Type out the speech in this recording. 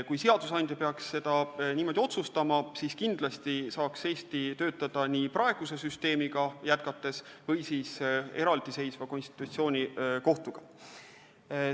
Kui seadusandja peaks üht- või teistmoodi otsustama, siis kindlasti saaks Eesti töötada nii praeguse süsteemiga jätkates kui ka eraldiseisva konstitutsioonikohtuga.